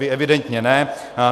Vy evidentně ne.